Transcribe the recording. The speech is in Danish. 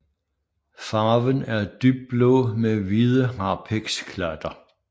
Farven er dybblå med hvide harpiksklatter